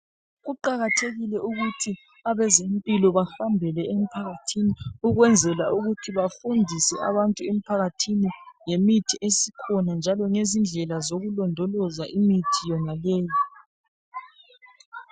Kuqakathekile ukuthi abezempilo bahambele emphakathini ukwenzela ukuthi bafundise abantu emphakathini ngemithi esikhona njalo ngezindlela zokulondoloza imithi yonaleyi.